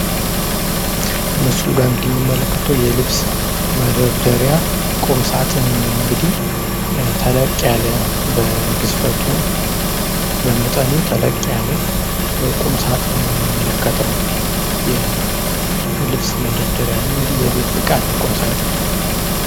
ምስሉ ላይ ምንመለከተው የልብስ መደርደሪያ ቁም ሳጥንን ነው ። ተለቅ ያለ በግዝፈቱ በመጠኑ ተለቅ ያለ ቁም ሳጥንን ነው ምንመለከተው። የልብስ መደርደሪያ ነው የቤት እቃ ነው ቁም ሳጥን።